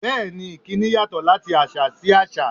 Bẹ́ẹ̀ ni, ìkíni yàtọ̀ láti àṣà sí àṣà.